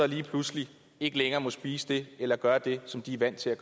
lige pludselig ikke længere må spise det eller gøre det som de er vant til